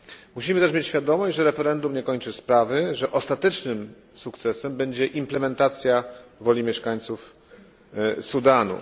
Musimy tez mieć świadomość, że referendum nie kończy sprawy, że ostatecznym sukcesem będzie implementacja woli mieszkańców Sudanu.